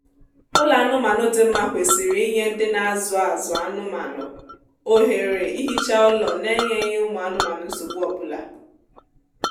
ụlọ anụmaanụ dị mma kwesịrị inye ndị na azụ azụ anụmaanụ ohere ihicha ụlọ n'enyeghị ụmụ anụmanụ nsogbu ọbụla